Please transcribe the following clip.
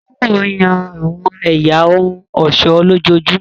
Táíwò yan àwọn ẹ̀yà ohun ọ̀ṣọ́ lójoojúmọ́